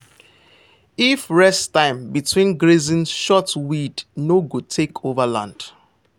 if rest time between grazing short weed no go take over land.